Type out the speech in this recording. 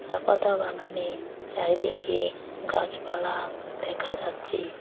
চা পাতা বাগানে চারিদিকে গাছপালা দেখা যাচ্ছে।